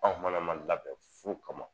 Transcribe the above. Anw fana ma labɛn fu kama